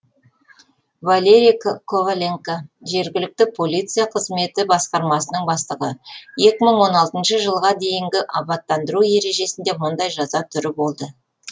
валерий коваленко жергілікті полиция қызметі басқармасының бастығы екі мың он алтыншы жылға дейінгі абаттандыру ережесінде мұндай жаза түрі болды